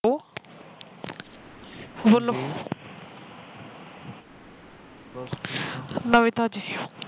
ਨਵੀ ਤਾਜੀ